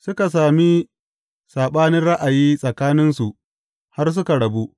Suka sami saɓanin ra’ayi tsakaninsu har suka rabu.